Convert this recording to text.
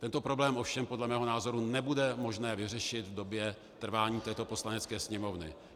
Tento problém ovšem podle mého názoru nebude možné vyřešit v době trvání této Poslanecké sněmovny.